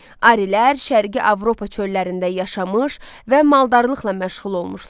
Arilər şərqi Avropa çöllərində yaşamış və maldarlıqla məşğul olmuşlar.